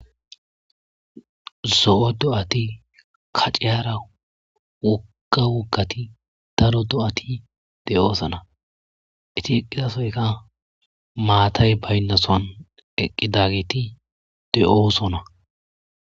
zo7o do7ati kaccehara wuga wuggati daro do7ati de7oosana iti eqqidasoyka maatay baynnasoan eqqidageti de7osona